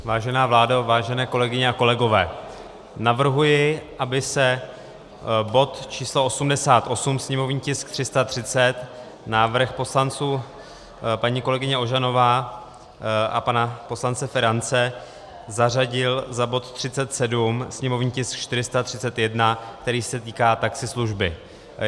Vážená vládo, vážené kolegyně a kolegové, navrhuji, aby se bod číslo 88, sněmovní tisk 330, návrh poslanců, paní kolegyně Ožanové a pana poslance Ferance, zařadil za bod 37, sněmovní tisk 431, který se týká taxislužby.